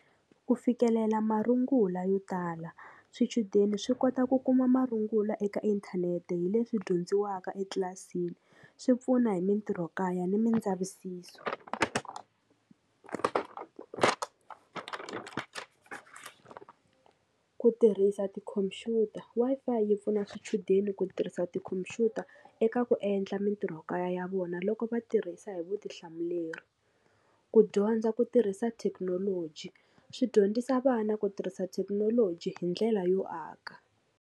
Ku fikelela marungula yo tala swichudeni swi kota ku kuma marungula eka inthanete hi leswi dyondziwaka etlilasini swi pfuna hi mintirhokaya ni mindzavisiso. Ku ku tirhisa tikhompyuta Wi-Fi yi pfuna swichudeni ku tirhisa tikhompyuta eka ku endla mintirhokaya ya vona loko va tirhisa hi vutihlamuleri ku dyondza ku tirhisa thekinoloji swi dyondzisa vana ku tirhisa thekinoloji hi ndlela yo aka.